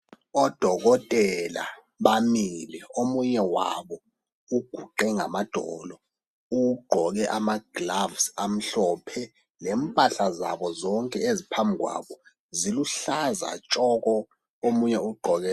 Odokotela bamile, omunye wabo uguqe ngamadolo, ugqoke ama"gloves" amhlophe lempahla zabo zonke eziphambi kwabo ziluhlaza tshoko, omunye ugqoke